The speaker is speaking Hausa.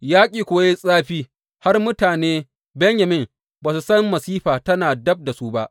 Yaƙi kuwa ya yi zafi har mutane Benyamin ba su san masifa tana dab da su ba.